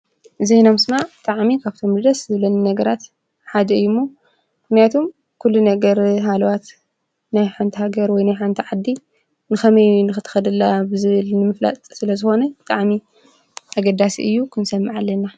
ዜና ምስማዕ ብጥዕሚ ካብቶም ደስ ዝብለኒ ነገራት ሓደ እዩ'ሞ። ምክንያቱ ኲሉ ነገር ሃልዋት ናይ ሓንታ ሃገር ወይ ናይ ሓንታ ዓዲ ንኸመይ ንኽተኸድ ኣላ ብዝብል ንምፍላጥ ስለ ዝኾነ ብጣዕሚ ኣገዳስ እዩ ክንሰምዕ ኣለና።